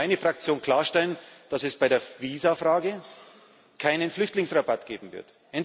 Ich kann für meine Fraktion klarstellen, dass es bei der Visa Frage keinen Flüchtlingsrabatt geben wird.